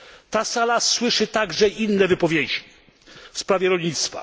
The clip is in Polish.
Ta sala słyszy także inne wypowiedzi w sprawie rolnictwa.